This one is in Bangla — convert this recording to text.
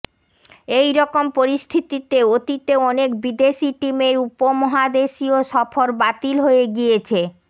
এই রকম পরিস্থিতিতে অতীতে অনেক বিদেশি টিমের উপমহাদেশীয় সফর বাতিল হয়ে গিয়েছে